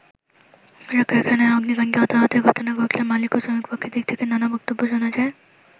পোশাক কারখানায় অগ্নিকান্ডে হতাহতের ঘটনা ঘটলে মালিক ও শ্রমিক পক্ষের দিক থেকে নানা বক্তব্য শোনা যায়।